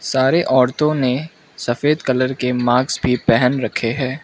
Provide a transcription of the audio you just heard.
सारे औरतों ने सफेद कलर के माक्स भी पहन रखे हैं।